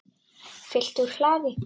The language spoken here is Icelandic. Fylgt úr hlaði